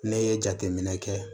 Ne ye jateminɛ kɛ